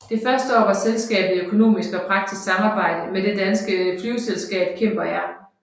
Det første år var selskabet i økonomisk og praktisk samarbejde med det danske flyveselskab Cimber Air